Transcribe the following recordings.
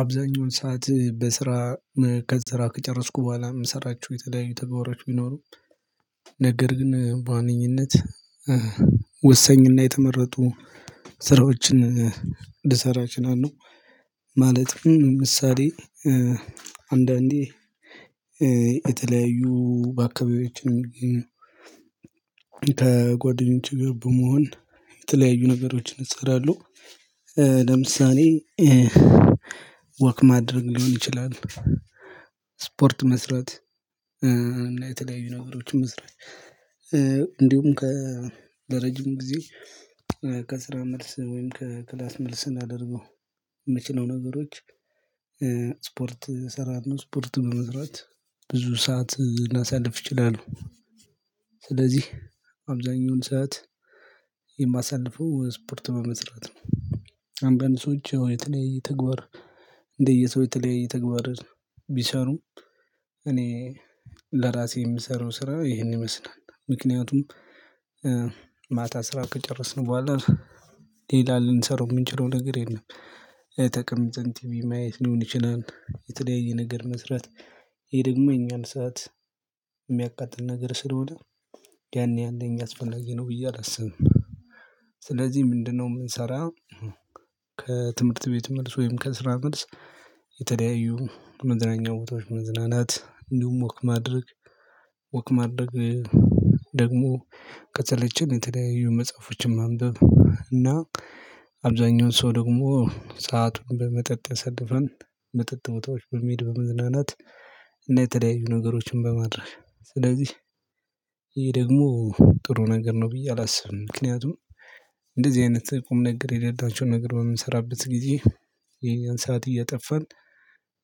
አብዛኛውን ሰዓት በስራ ከስራ ከጨረስኩ በኋላ የምሰራቸው የተለያዩ ተግባሮች ቢኖሩም ነገር ግን በዋነኝነት ወሳኝና የተመረጡ ስራዎችን ልሰራ እችናለሁ። ማለትም ምሳሌ አንዳንዴ የተለያዩ በአካባቢዎችን የሚገኙ ከጓደኞች ጋር በመሆን የተለያዩ ነገሮችን እሰራለሁ። ለምሳሌ ወክ ማድረግ ሊሆን ይችላል። ስፖርት መስራት እና የተለያዩ ነገሮችን መስራት። እንዲሁም ከረጅም ጊዜ ከስራ መልስ ወይም ከክላስ መልስ ላደርገው የምችለው ነገሮች። ስፖርት እሰራለሁ ስፖርት በመስራት ብዙ ሰዓት ላሳልፍ ይችላል ት። ስለዚህ አብዛኛውን ሰዓት የማሳልፈው ስፖርት በመስራት ነው። አንዳንድ ሰዎች የተለየ ተግባር እንደየሰው የተለያየ ተግባር ቢሰሩም እኔ ለራሴ የምሰራው ስራ ይሄንን ይመስላል። ምክንያቱም ማታ ስራ ከጨረስን በኋላ ሌላ ልንሰራው የምንችለው ነገር የለም። ተቀምጠን ቲቪ ማየት ሊሆን ይችላል የተለያየ ነገር መስራት። ይሄ ደግሞ የኛን ሰዓት የሚያቃጥል ነገር ስለሆነ ያኔ ያኔ እኛ አስፈላጊ ነው ብዬ አላስብም። ስለዚህ ምንድነው የምንሰራ? ከትምህርት ቤት መልስ ወይም ከስራ መልስ የተለያዩ መዝናኛ ቦታዎች መዝናናት እንዲሁም ወክ ማድረግ። ወክ ማድረግ ደግሞ ከሰለቸን የተለያዩ መጽሐፎችን ማንበብ እና አብዛኛውን ሰው ደግሞ ሰአቱን በመጠጥ ያሳልፋል መጠጥ መጥቶች በሚሄድ በመዝናናት። እና የተለያዩ ነገሮችን በማድረግ ስለዚህ ይሄ ደግሞ ጥሩ ነገር ነው ብዬ አላስብም። ምክንያቱም እንደዚህ አይነት ቁም ነገር የሌላቸውን ነገር በምንሰራበት ጊዜ ይሄን ሰዓት እየጠፋን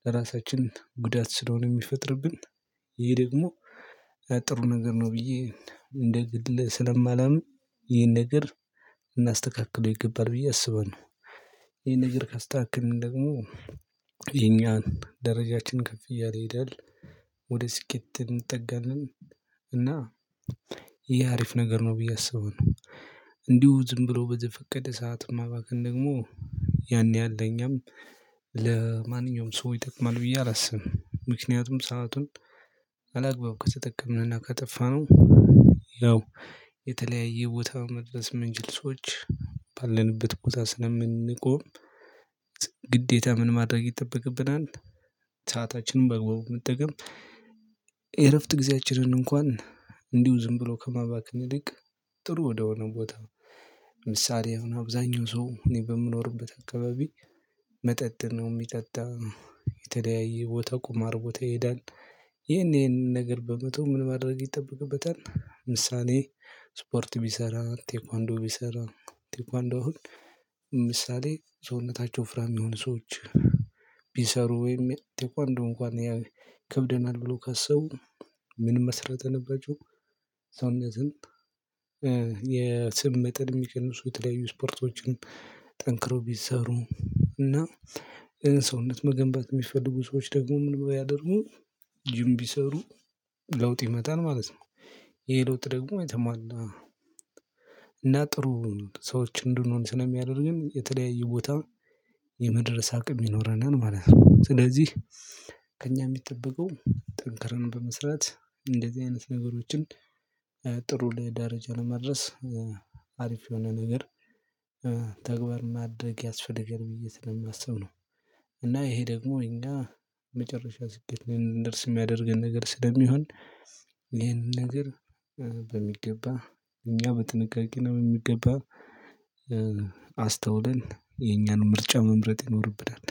ለራሳችን ጉዳት ስለሆነ የሚፈጥርብን። ይሄ ደግሞ ጥሩ ነገር ነው። ብዬ እንደ ስለማላምን ይሄን ነገር እናስተካክለው ይገባል ብዬ አስበን። ይሄን ነገር ካስተካከልን ደግሞ የኛን ደረጃችን ከፍ እያለ ይሄዳል። ወደ ስኬት እንጠጋንን። እና ይሄ አሪፍ ነገር ነው ብዬ አስባለው። እንዲሁ ዝም ብሎ በዘፈቀደ ሰዓትን ማባከን ደግሞ ያኔ ያለኝም ለማንኛውም ሰው ይጠቅማል ብዬ አላስብም። ምክንያቱም ሰአቱን አላግባብ ከተጠቀምንና ከጠፋነው ያው የተለያየ ቦታ መድረስ ምንችል። ባለንበት ቦታ ስለምንቆም ግዴታ ምን ማድረግ ይጠበቅብናል። ሰአታችንን በግበቡ መጠቀም የእረፍት ጊዜያችንን እንኳን እንዲሁ ዝም ብሎ ከማባክን ይልቅ ጥሩ ወደሆነ ቦታ ምሳሌ አሁን አብዛኛው ሰው እኔ በምኖርበት አካባቢ መጠጥ ነው የሚጠጣው የተለያየ ቦታ ቁማር ቦታ ይሄዳል። ይሄንን ነገር በመተው ምን ማድረግ ይጠብቅበታል። ምሳሌ ስፖርት ቢሰራ ቴኳንዶ ቢሰራ ቴኳንዶ አሁን ምሳሌ ሰውነታቸው ውፍራም የሆኑ ሰዎች ቢሰሩ ወይም ቴኳንዶ እንኳን ያው ይከብደናል ብሎ ካሰቡ ምን መስራት አለባቸው። ሰውነትን የስም መጠን የሚቀንሱ የተለያዩ ስፖርቶችን ጠንክረው ቢሰሩ እና ሰውነት መገንባት የሚፈልጉ ሰዎች ደግሞ ምን ብለው ያደርጉ ጅም ቢሰሩ ለውጥ ይመጣል ማለት ነው። ይሄ ደግሞ የተሟላ እና ጥሩ ሰዎች እንድንሆን ስንሚያደርገን የተለያዩ ቦታ የመድረስ አቅም ይኖረናል ማለት ነው። ስለዚህ ከእኛ የሚጠበቀው ጠንክረን በመስራት እንደዚህ አይነት ነገሮችን ጥሩ ላይ ደረጃ ለመድረስ አሪፍ የሆነ ነገር ተግባር ማድረግ ያስፈልገን ብዬ ስለማስብ ነው። እና ይሄ ደግሞ እኛ መጨረሻ ስኬት እንድንደርስ የሚያደርገን ነገር ስለሚሆን ይሄንን ነገር በሚገባ እኛ በጥንቃቄና በሚገባ አስተውለን የኛን ምርጫ መምረጥ ይኖርብናል።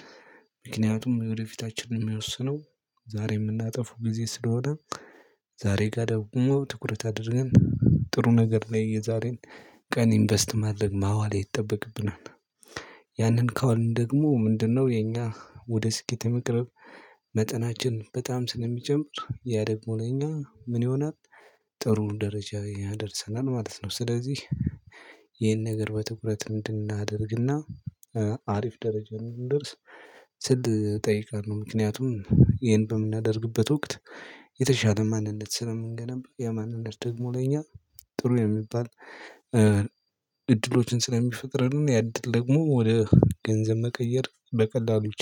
ምክንያቱም ወደፊታችን የሚያወስነው ዛሬ የምናጠፋው ጊዜ ስለሆነ። ዛሬ ጋር ደግሞ ትኩረት አድርገን ጥሩ ነገር ላይ የዛሬን ቀን ኢንቨስት ማድረግ ማዋል ይጠበቅብናል። ያንን ከዋልን ደግሞ ምንድነው? የኛ ወደ ስኬት የመቅረብ መጠናችን በጣም ስለሚጨምር ያ ደግሞ ለኛ ምን ይሆናል? ጥሩ ደረጃ ያደርሰናል ማለት ነው። ስለዚህ ይሄን ነገር በትኩረት እንድናደርግና አሪፍ ደረጃ ላይ እንደንደርስ ስል እጠይቃለሁ ነው። ምክንያቱም ይሄን በምናደርግበት ወቅት የተሻለ ማንነት ስለምንገነባ ያ ማንነት ደግሞ ለኛ ጥሩ የሚባል እድሎችን ስለሚፈጥርልን ያድል ደግሞ ወደ ገንዘብ መቀየር በቀላሉ